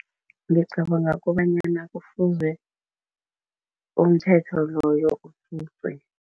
Ngicabanga kobanyana kufuze umthetho loyo ususwe.